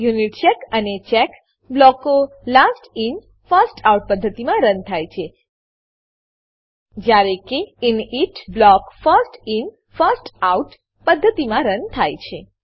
યુનિચેક અને ચેક બ્લોકો last in first out પદ્ધતિમાં રન થાય છે જ્યારે કે init block first in first out પદ્ધતિમાં રન થાય છે